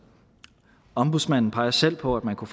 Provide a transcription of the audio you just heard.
ombudsmanden peger selv på at man kunne